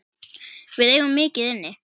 Við eigum mikið inni.